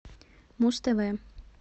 муз тв